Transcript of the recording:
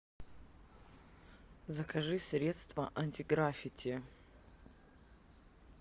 закажи средство антиграфити